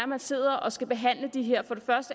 man sidder og skal behandle de her